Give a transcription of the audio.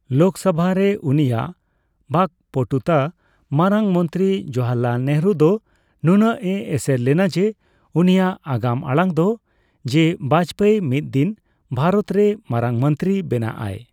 ᱞᱳᱠᱥᱚᱵᱷᱟ ᱨᱮ ᱩᱱᱤᱭᱟᱜ ᱵᱟᱠᱯᱴᱩᱛᱟ ᱢᱟᱨᱟᱝ ᱢᱚᱱᱛᱨᱤ ᱡᱚᱣᱟᱦᱚᱨᱞᱟᱞ ᱱᱮᱦᱨᱩ ᱫᱚ ᱱᱩᱱᱟᱜ ᱮ ᱮᱥᱮᱨ ᱞᱮᱱᱟ ᱡᱮ, ᱩᱱᱤᱭᱟᱜ ᱟᱜᱟᱢᱟᱲᱟᱝ ᱫᱚ ᱡᱮ ᱵᱟᱡᱯᱤᱭ ᱢᱤᱫ ᱫᱤᱱ ᱵᱷᱟᱨᱚᱛ ᱨᱮ ᱢᱟᱨᱟᱝ ᱢᱚᱱᱛᱨᱤᱭ ᱵᱮᱱᱟᱜᱼᱟ᱾